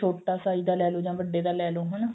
ਛੋਟਾ size ਦਾ ਲੈਲੋ ਜਾਂ ਵੱਡੇ ਦਾ ਲੈਲੋ ਹਨਾ